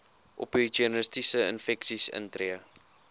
opportunistiese infeksies intree